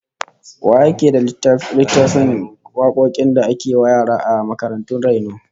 Wa yake da littafin wakokin da ake wa yara a makarantun raino?